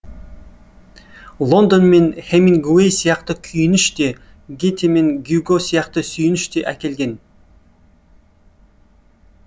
лондон мен хемингуэй сияқты күйініш те гете мен гюго сияқты сүйініш те әкелген